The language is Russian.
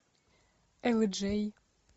элджей